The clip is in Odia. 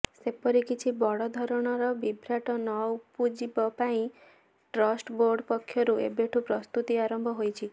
ସେପରିି କିଛି ବଡଧରଣ ବିଭ୍ରାଟ ନଉପୁଜିବ ପାଇଁ ଟ୍ରଷ୍ଟ ବୋର୍ଡ ପକ୍ଷରୁ ଏବେଠୁ ପ୍ରସ୍ତୁତି ଆରମ୍ଭ ହୋଇଛି